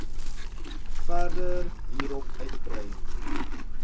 verder hierop uitbrei